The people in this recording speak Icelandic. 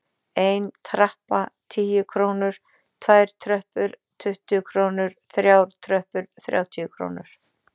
Ein trappa- tíu krónur, tvær tröppur- tuttugu krónur, þrjár tröppur- þrjátíu krónur.